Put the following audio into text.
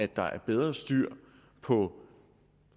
der er bedre styr på